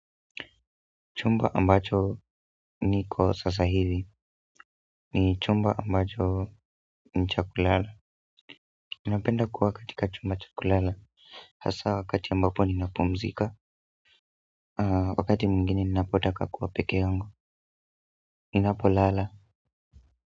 Chumba ambacho niko sasa hivi ni chumba ambacho ni cha kulala napenda kuwa katika chumba cha kulala hasa wakati ambapo ninapumzika wakati mwingine ninapotaka kuwa pekee yangu ninapolala.